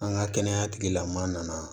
An ka kɛnɛya tigilamaa nana